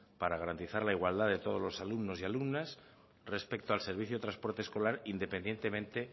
para garantizar la igualdad de todos los alumnos y alumnas respecto al servicio de transporte escolar independientemente